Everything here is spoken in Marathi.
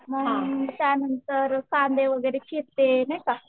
मग त्यांनतर कांदे वगैरे चिरते नाही का.